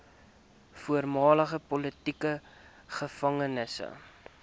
voormalige politieke gevangenes